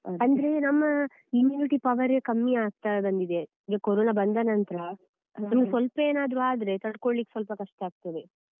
ಅಂದ್ರೆ ನಮ್ಮ immunity power ರೇ ಕಮ್ಮಿ ಆಗ್ತಾ ಬಂದಿದೆ ಈಗ ಕೋರೋನ ಬಂದ ನಂತ್ರ ಸ್ವಲ್ಪ ಏನಾದ್ರು ಆದ್ರೆ ತಡ್ಕೋಳಿಕ್ಕೆ ಸ್ವಲ್ಪ ಕಷ್ಟಆಗ್ತದೆ.